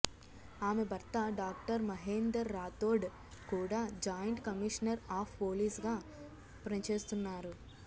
ఆమె భర్త డాక్టర్ మహేందర్ రాథోడ్ కూడా జాయింట్ కమిషనర్ ఆఫ్ పోలీసుగా పనిచేస్తున్నారు